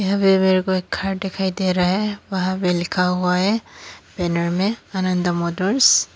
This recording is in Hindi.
अभी मेरे को एक घर दिखाई दे रहा है वहां पे लिखा हुआ है मिरर में आनंद मोटर्स ।